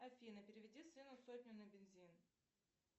афина переведи сыну сотню на бензин